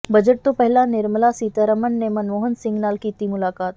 budget ਤੋਂ ਪਹਿਲਾਂ ਨਿਰਮਲਾ ਸੀਤਾਰਮਣ ਨੇ ਮਨਮੋਹਨ ਸਿੰਘ ਨਾਲ ਕੀਤੀ ਮੁਲਾਕਾਤ